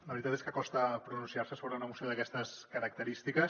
la veritat és que costa pronunciar se sobre una moció d’aquestes característiques